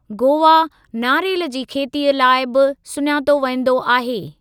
गोवा नारेल जी खेतीअ जे लाइ बि सुञातो वेंदो आहे।